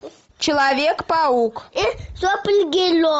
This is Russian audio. человек паук